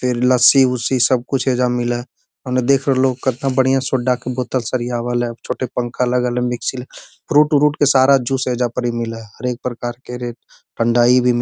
फेर लस्सी-उस्सी सब कुछ एजा मिलए हेय ओने देख रहलो कितना बढ़िया सोडा के बोतल सरियावल हेय छोटे पंखा लगल हेय मिक्सी फ्रूट उरुट के सारा जूस ऐजा परी मिले हेय हर एक प्रकार के रे ठंडाई भी --